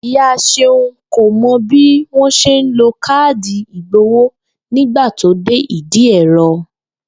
Ìyá S̩eun kò mo̩ bí wón s̩e ń lo káàdì ìgbowó nígbà tó dé ìdí è̩ro